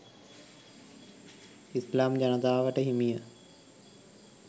ඉස්ලාම් ජනතාවට හිමිය